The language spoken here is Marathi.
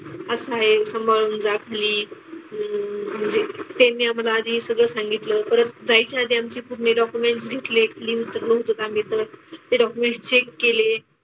असं आहे. सांभाळून जा खाली. म्हणजे त्यांनी आम्हाला आधी सगळं सांगितलं. परत जायच्या आधी आमचे पूर्ण डॉक्युमेंट्स घेतले. ते डॉक्युमेंट्स चेक केले.